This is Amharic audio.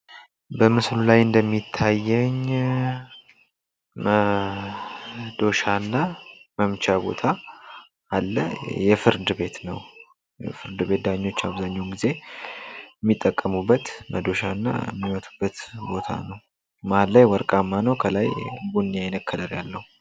በምስሉ ላይ እንደሚታየኝ መዶሻና መምቻ ቦታ አለ። የፍርድ ቤት ነው ፍርድ ቤት ዳኞች አብዛኛውን ጊዜ ሚጠቀሙበት መዶሻና የሚመቱበት ቦታ ነው። መሃል ላይ ወርቃማ ነው ከላይ ቡኒ አይነት ከለር ያልለው።